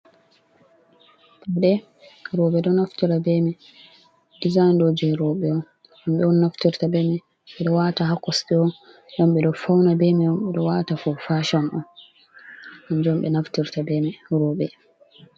Pawda roɓe ɗo naftira bemai dizaign roɓe ombe on naftirta bemi, ɓeɗo wata ha kosde dom ɓe ɗo fauna bemai don ɓeɗo wata ko fashan on onjom be naftirta bemi roɓe.